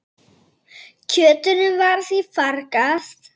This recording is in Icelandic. Kjötinu var því fargað.